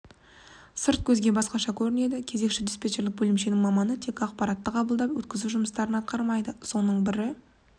сырт көзге басқаша көрінеді кезекші-диспетчерлік бөлімшесінің маманы тек ақпаратты қабылдап өткізу жұмыстарын атқармайды соның бірі